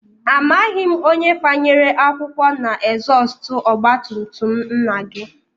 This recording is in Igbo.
Amaghị m onye fanyere akwụkwọ n'ezọstụ ọgbatumtum nna gị